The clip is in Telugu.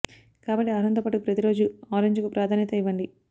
కాబట్టి ఆహారంతో పాటు ప్రతి రోజూ ఆరెంజ్ కు ప్రాధాన్యత ఇవ్వండి